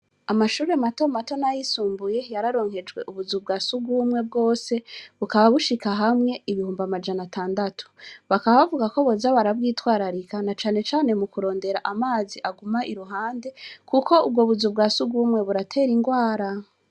Amashuri mato mato na yisumbuye yararonkejwe ubuzu bwa sugumwe bwose bukaba bushika hamwe ibihumba amajana atandatu bakabavuga ko boza barabwitwararika na canecane mu kurondera amazi aguma i ruhande, kuko ubwo buzu bwa sugumwe buratera ingwara.